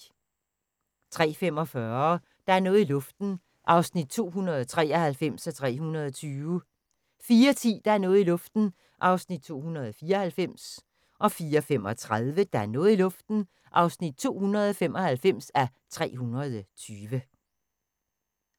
03:45: Der er noget i luften (293:320) 04:10: Der er noget i luften (294:320) 04:35: Der er noget i luften (295:320)